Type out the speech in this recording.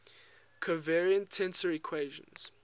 covariant tensor equations